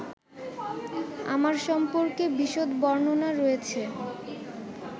আমার সম্পর্কে বিশদ বর্ণনা রয়েছে